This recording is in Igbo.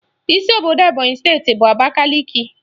Isi obodo Ebonyị steeti bụ Abakaliki